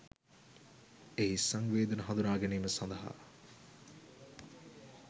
එහි සංවේදන හඳුනාගැනීම සඳහා